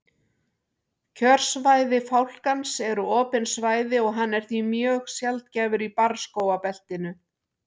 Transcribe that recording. kjörsvæði fálkans eru opin svæði og hann er því mjög sjaldgæfur í barrskógabeltinu